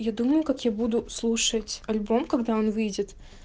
я думаю как я буду слушать альбом когда он выйдет